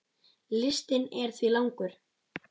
Listinn er því langur.